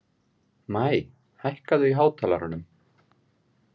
Maj, hækkaðu í hátalaranum.